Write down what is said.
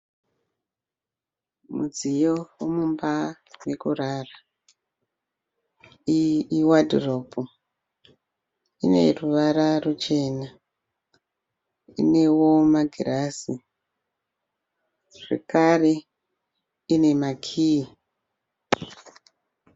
Mudziyo wemumba yekurara, iyi iwadhiropu ine ruvara ruchena inewo magirazi zvekare ine makiyi.